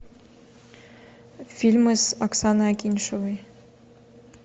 фильмы с оксаной акиньшиной